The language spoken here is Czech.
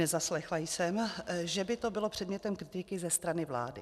Nezaslechla jsem, že by to bylo předmětem kritiky ze strany vlády.